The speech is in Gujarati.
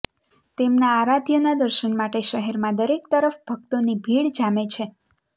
તેમના આરાધ્યના દર્શન માટે શહેરમાં દરેક તરફ ભક્તોની ભીડ જામે છે